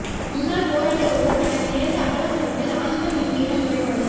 முன்னாள் போராளி ஒருவர் தனக்கு நேர்ந்த அவலம் தொடர்பில் ஆனந்தன் எம்பியிடம் முறைப்பாடு